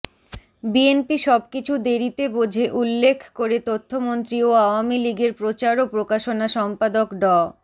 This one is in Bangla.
বিএনপি সবকিছু দেরিতে বোঝে উল্লেখ করে তথ্যমন্ত্রী ও আওয়ামী লীগের প্রচার ও প্রকাশনা সম্পাদক ড